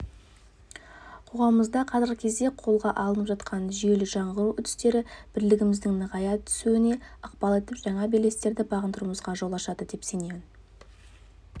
қоғамымызда қазіргі кезде қолға алынып жатқан жүйелі жаңғыру үрдістері бірлігіміздің нығая түсуіне ықпал етіп жаңа белестерді бағындыруымызға жол ашады деп сенемін